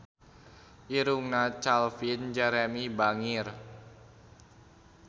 Irungna Calvin Jeremy bangir